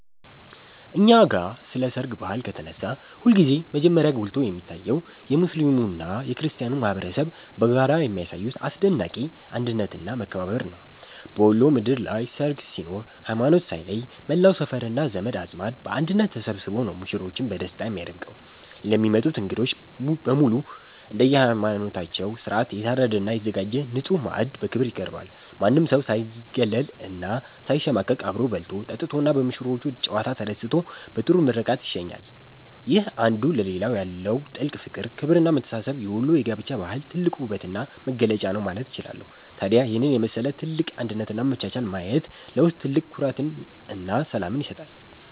እኛ ጋ ስለ ሰርግ ባህል ከተነሳ ሁልጊዜም መጀመሪያ ጎልቶ የሚታየው የሙስሊሙና የክርስቲያኑ ማኅበረሰብ በጋራ የሚያሳዩት አስደናቂ አንድነትና መከባበር ነው። በወሎ ምድር ላይ ሰርግ ሲኖር ሃይማኖት ሳይለይ መላው ሰፈርና ዘመድ አዝማድ በአንድነት ተሰብስቦ ነው ሙሽሮችን በደስታ የሚያደምቀው። ለሚመጡት እንግዶች በሙሉ እንደየሃይማኖታቸው ሥርዓት የታረደና የተዘጋጀ ንጹሕ ማዕድ በክብር ይቀርባል። ማንም ሰው ሳይገለልና ሳይሸማቀቅ አብሮ በልቶ፣ ጠጥቶና በሙሽሮቹ ጨዋታ ተደስቶ በጥሩ ምርቃት ይሸኛል። ይህ አንዱ ለሌላው ያለው ጥልቅ ፍቅር፣ ክብርና መተሳሰብ የወሎ የጋብቻ ባህል ትልቁ ውበትና መገለጫ ነው ማለት እችላለሁ። ታዲያ ይህንን የመሰለ ትልቅ አንድነትና መቻቻል ማየት ለውስጥ ትልቅ ኩራትና ሰላምን ይሰጣል።